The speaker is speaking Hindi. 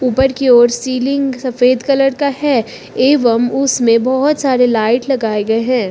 ऊपर की ओर सीलिंग सफेद कलर का है एवं उसमें बहोत सारे लाइट लगाए गए हैं।